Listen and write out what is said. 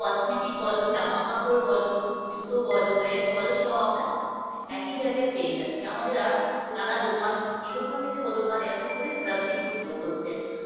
cosmetic বলো জামাকাপড় বলো জুতো বলো ব্যাগ বলো সব আমরা একই জায়গায় পেয়ে যাচ্ছি আমাদের আর নানা দোকান এ দোকান থেকে ও দোকান এরকম করে ঘোরাঘুরি করতে হচ্ছে না